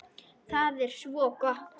Það er svo gott!